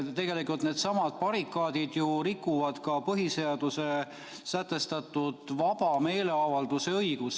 Tegelikult need barrikaadid ju rikuvad ka põhiseaduses sätestatud vaba meeleavalduse õigust.